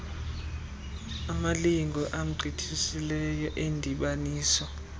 amalinge agqithiseleyo endibaniso